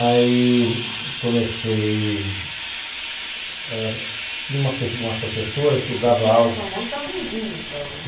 Aí comecei... ãh. Tinha uma professora que dava aula... Você se formou jovenzinho, então?